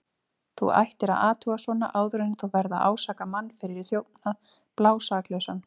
Þú ættir að athuga svona áður en þú ferð að ásaka mann fyrir þjófnað, blásaklausan.